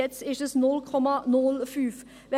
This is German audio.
Jetzt sind es 0,05 Promille.